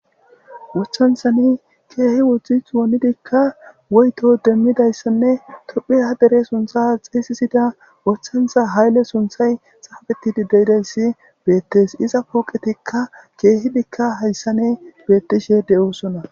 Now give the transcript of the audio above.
Wochanthani keehi wodzdzith wonidikka woyto demmidayssanne tophe ha dere suntha xeeysisida wothantha haylle sunthay xaabetidi dedayssi beettes iza puuqetikka keehidikka hayssane beettishe de7oosona.